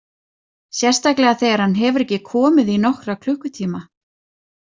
Sérstaklega þegar hann hefur ekki komið í nokkra klukkutíma.